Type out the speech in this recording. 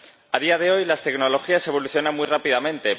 A día de hoy, las tecnologías evolucionan muy rápidamente.